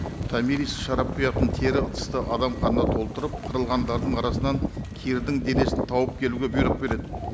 томирис шарап құятын тері ыдысты адам қанына толтырып қырылғандардың арасынан кирдің денесін тауып келуге бұйрық береді